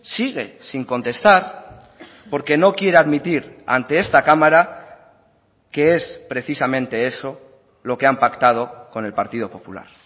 sigue sin contestar porque no quiere admitir ante esta cámara que es precisamente eso lo que han pactado con el partido popular